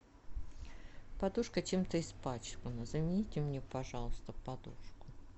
подушка чем то испачкана замените мне пожалуйста подушку